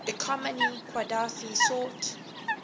economy qadhafi sought